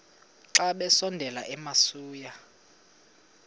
xa besondela emasuie